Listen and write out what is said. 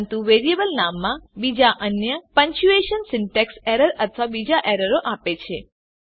પરંતુ વેરીએબલ નામમાં બીજા અન્ય પંક્ચ્યુએશન સિન્ટેક્સ એરર અથવા બીજી એરરો આપે છે